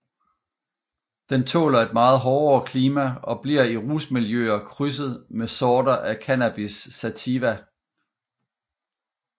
Den tåler et meget hårdere klima og bliver i rusmiljøer krydset med sorter af Cannabis sativa